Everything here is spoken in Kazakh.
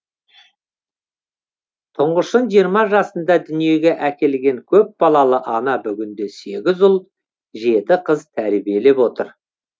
тұңғышын жиырма жасында дүниеге әкелген көпбалалы ана бүгінде сегіз ұл жеті қыз тәрбиелеп отыр